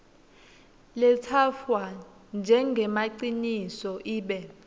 letsatfwa njengemaciniso ibe